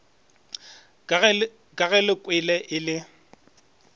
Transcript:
ka ge lekwe e le